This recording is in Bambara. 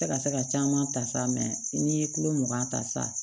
Tɛ ka se ka caman ta sa n'i ye kulo mugan ta sa